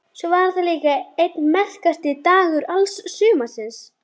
Svo var þetta líka einn merkasti dagur alls sumarsins.